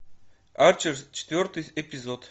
арчер четвертый эпизод